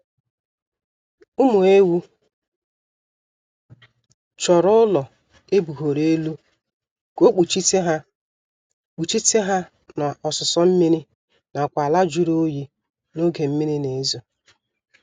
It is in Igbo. Ụmụ ewu chọrọ ụlọ ebugoro elu ka ọ kpuchite ha kpuchite ha na ọsụsọ mmiri nakwa ala jụrụ oyi n'oge mmiri na-ezo